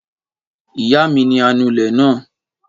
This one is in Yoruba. Ìyá mi ni anulẹ̀ náà